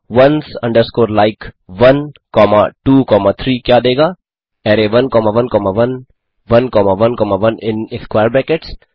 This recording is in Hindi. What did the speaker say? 1ओन्स अंडरस्कोर लाइक 1 कॉमा 2 कॉमा 3 क्या देगा array 1 comma 1 comma 1 1 comma 1 comma 1 in square brackets